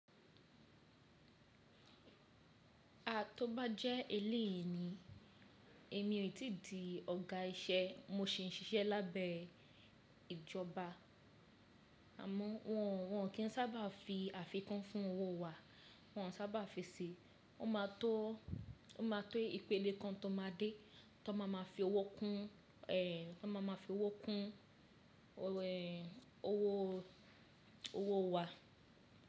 A tó bá jẹ́ elèyìi ni, èmi ò tìí di ọ̀gá iṣẹ́ mo sì ń ṣiṣẹ́ lábẹ́ ìjọba. Àmọ́ wọn kì ń sábà fi àfikún fún owó wa, wọn ò sábà fi sí i, o maa tó ìpele kan tó ma dé tan má ma fi owó kún owó wa.